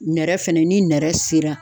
Nɛrɛ fɛnɛ ni nɛrɛ sera.